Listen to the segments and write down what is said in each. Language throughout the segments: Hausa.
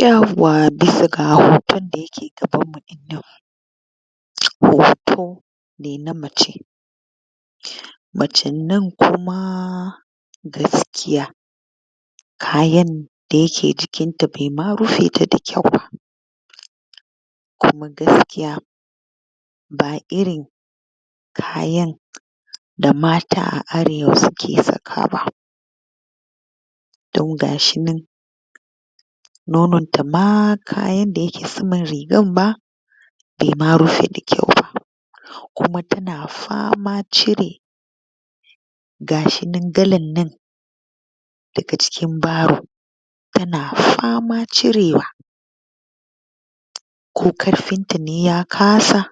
Yawwa! Bisa ga hoton da ya ke gabanmu ɗinnan, hoto ne na mace, macen nan kuma gaskiya kayan da ya ke jikinta baima rufe ta da kyau ba, kuma gaskiya ba irin kayan da mata a arewa su ke sakawa ba, don ga shi nan nomonta ma kayan da ya ke saman rigan ma bai ma rufe da kyau ba, kuma ta na faman cire ga shi nan galan nan daga cikin baro, ta na faman cirewa ko ƙarfinta ne ya kasa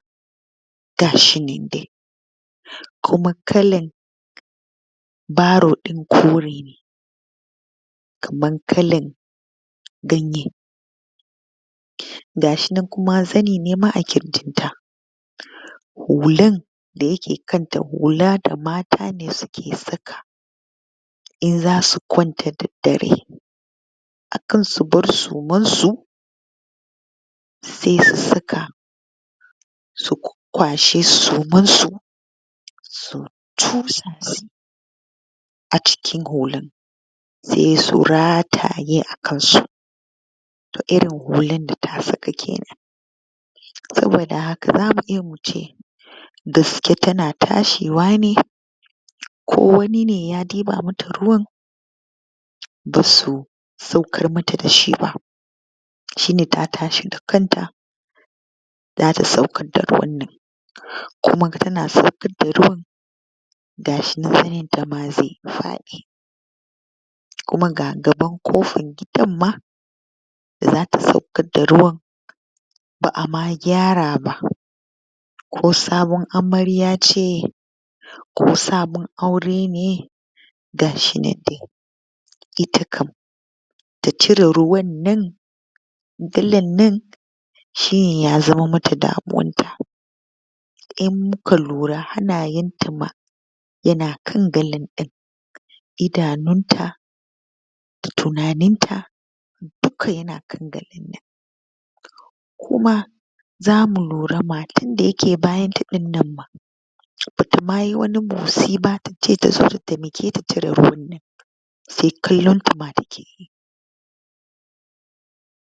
ga shi nan dai, kuma kalan baro ɗin kore ne, kaman kalan ganye, ga shi nan kuma zane ne ma a ƙirjinta, hulan da ya ke kanta hula da mata su ke saka in za su kwanta da daddare, akan su bar sumarsu sai su saka, su kwashe sumarsu su cusa shi a cikin hulan, sai su rataye a kansu to irin hulan da ta saka kenan, saboda haka za mu iya mu ce da su ke ta na tashewa ne ko wani ne ya ɗiba ma ta ruwan, ba su saukar ma ta da shi ba, shine ta tashi da kanta za ta saukar daga wannan kuma ta na saukar da ruwan ga shi na zanenta ma zai faɗi, kuma ga gaban kofan gidan ma da za ta saukar da ruwan ba a ma gyara ba, ko sabuwar amarya ce, ko sabon aure ne ga shi nan dai, ita kam ta cire ruwan nan galan nan shi ya zama ma ta damuwarta, in mu ka lura hannayenta ma ya na kan galan ɗin, idanunta, tunaninta, duka ya na kan galan nan, kuma za mu lura matan da ya ke bayanta ɗinnan ma ba ta ma yi wani motsi ba ta ce ta zo ta taimaketa ta cire ruwan nan, sai kallonta ma ta ke.